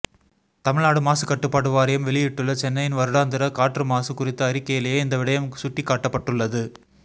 தமிழ்நாடு மாசுக்கட்டுப்பாட்டு வாரியம் வெளியிட்டுள்ள சென்னையின் வருடாந்த காற்று மாசு குறித்த அறிக்கையிலேயே இந்த விடயம் சுட்டிக்காட்டப்பட்டுள்ளது